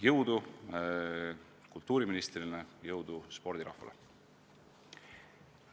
Jõudu kultuuriministrile, jõudu spordirahvale!